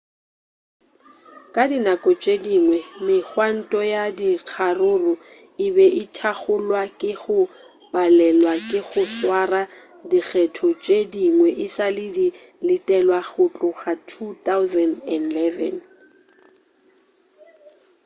ka dinako tše dingwe-megwanto ya dikgaruru e be thakgolwa ke go palelwa ke go swara dikgetho tše dingwe e sa le di letelwa go tloga 2011